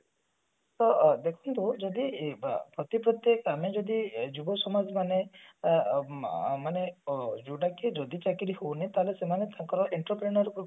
ତ ବ୍ୟକ୍ତି ର ଯଦି ସେଥିପ୍ରତି ଆମେ ଯଦି ଯୁବ ସମାଜ ମାନେ ଅ ଅ ମାନେ କଣ ଯୋଉଟା କି ଯଦି ଚାକିରି ହାଉନି ତାହେଲେ ସେମାନେ ତାଙ୍କର interconal